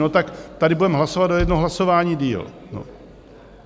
No tak tady budeme hlasovat o jedno hlasování déle.